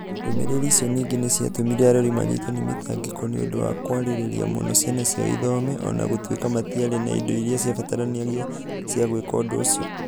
Ndũmĩrĩri icio ningĩ nĩ ciatũmire arori manyitwo nĩ mĩtangĩko nĩ ũndũ wa kwĩrirĩria mũno ciana ciao ithome o na gũtuĩka matiarĩ na indo iria ciabataranagia cia gwĩka ũndũ ũcio.